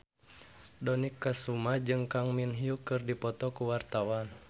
Dony Kesuma jeung Kang Min Hyuk keur dipoto ku wartawan